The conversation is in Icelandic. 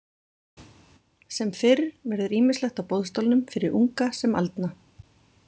Sem fyrr verður ýmislegt á boðstólnum fyrir unga sem aldna.